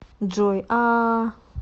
джой аааа